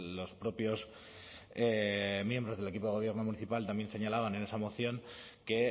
los propios miembros del equipo de gobierno municipal también se señalaban en esa moción que